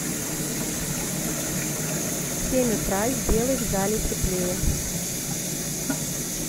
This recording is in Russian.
в семь утра сделай в зале теплее